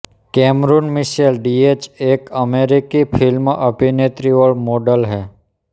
Cameroon Michelle Diaz एक अमेरिकी film अभिनेत्री और मॉडल है